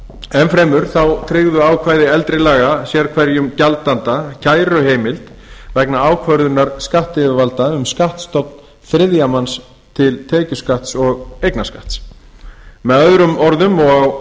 enn fremur tryggðu ákvæði eldri laga sérhverjum gjaldanda kæruheimild vegna ákvörðunar skattyfirvalda um skattstofn þriðja manns til tekjuskatts og eignarskatts með öðrum orðum og